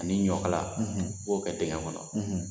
Ani ɲɔkala, i b'o kɛ dingɛ kɔnɔ